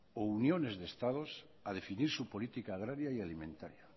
o uniones de estados a definir su política agraria y alimentaria